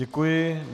Děkuji.